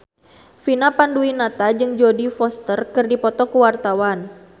Vina Panduwinata jeung Jodie Foster keur dipoto ku wartawan